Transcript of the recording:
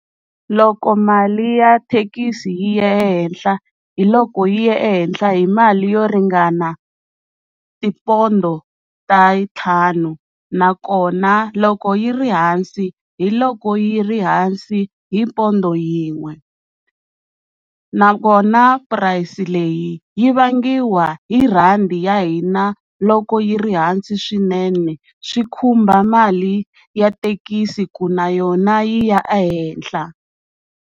Loko mali ya thekisi yi ya ehenhla hiloko yi ye ehenhla hi mali yo ringana tipondo ta ntlhanu nakona loko yi ri hansi hiloko yi ri hansi hi pondo yin'we, nakona price leyi yi vangiwa hi rhandi ya hina loko yi ri hansi swinene swi khumba mali ya thekisi ku na yona yi ya ehenhla.